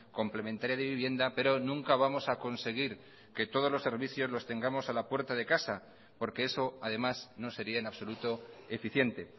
complementaria de vivienda pero nunca vamos a conseguir que todos los servicios los tengamos a la puerta de casa porque eso además no sería en absoluto eficiente